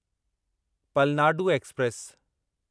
Palnadu express